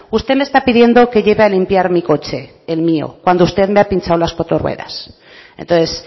usted me está pidiendo que lleve a limpiar mi coche el mío cuando usted me ha pinchado las cuatro ruedas entonces